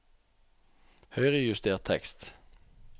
Høyrejuster tekst